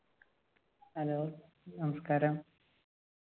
hello നമസ്കാരം